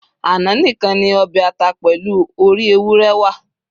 ana nìkan ni obe ata pèlú òrí ewúrẹ wà